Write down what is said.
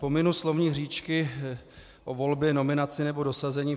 Pominu slovní hříčky o volbě, nominaci nebo dosazení.